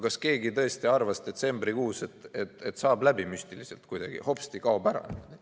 Kas keegi tõesti arvas detsembrikuus, et see saab kuidagi müstiliselt läbi, hopsti, kaob ära?